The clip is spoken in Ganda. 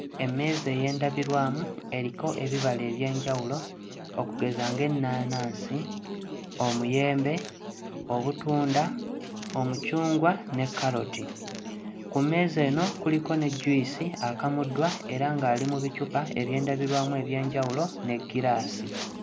Emmeeza ey'endabirwamu eriko ebibala eby'enjawulo okugeza ng'ennaanansi, omuyembe, obutunda, omucungwa ne kkaloti. Ku mmeeza eno kuliko ne juyisi akamuddwa era ng'ali mu bicupa eby'endabirwamu eby'enjawulo ne giraasi.